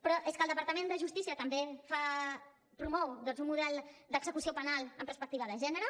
però és que el departament de justícia també promou doncs un model d’execució penal amb perspectiva de gènere